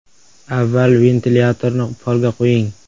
Avval ventilyatorni polga qo‘ying.